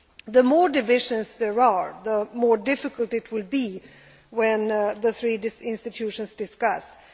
that easy. The more divisions there are, the more difficult it will be when the three institutions hold discussions.